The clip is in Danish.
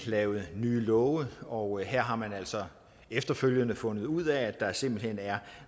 lavet nye love og her har man altså efterfølgende fundet ud af at der simpelt hen er